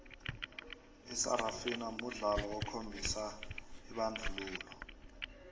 isarafina mudlolo okhombisa ibandlululo